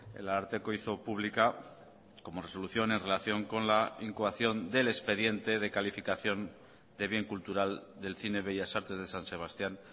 el ararteko hizo pública como resolución en relación con la incoación del expediente de calificación de bien cultural del cine bellas artes de san sebastián